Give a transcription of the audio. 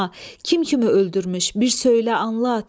Kim kimi öldürmüş, bir söylə anlat!